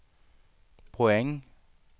poäng